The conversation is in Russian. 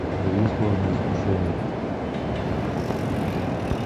у тебя есть ложное искушение